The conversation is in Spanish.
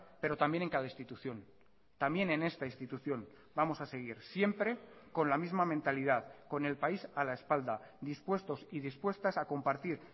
pero también en cada institución también en esta institución vamos a seguir siempre con la misma mentalidad con el país a la espalda dispuestos y dispuestas a compartir